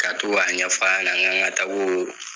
Ka to k'a ɲɛf'a ɲɛna k'an ka taa